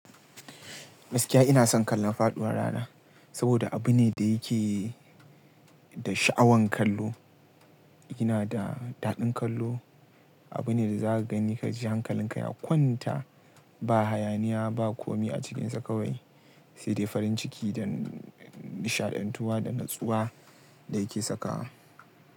Gaskiya ina son kallon faɗuwar rana saboda abu ne da yake da sha'awan kallo. Yana da daɗin kallo, abu ne da za ka gani ka ji hankalinka ya kwanta. Ba hayaniya ba kome a cikinsa kawai, sai dai farin ciki da nishaɗantuwa da natsuwa da yake sakawa.